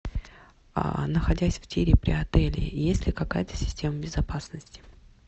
находясь в тире при отеле есть ли какая то система безопасности